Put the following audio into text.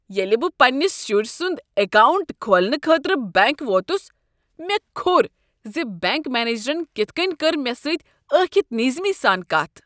ییٚلہ بہٕ پننس شُرۍ سُند اکاونٹ کھولنہٕ خٲطرٕ بینٛک ووتس مےٚ کھوٚر ز بنٛک منیجرن کتھ کٔنۍ کٔر مےٚ سۭتۍ ٲکھِتھ نیزمی سان کتھ۔